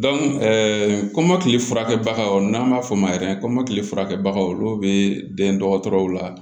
kɔmɔkili furakɛbagaw n'an b'a fɔ o ma kɔmɔkili furakɛbagaw olu bɛ den dɔgɔtɔrɔw la